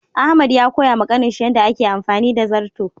Ahmad ya koya ma Kanin shi yanda a ke amfani da zarto.